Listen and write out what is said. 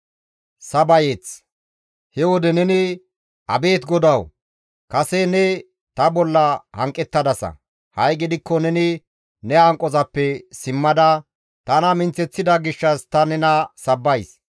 He wode neni, «Abeet GODAWU, kase ne ta bolla hanqettadasa; ha7i gidikko neni ne hanqozappe simmada tana minththeththida gishshas ta nena sabbays.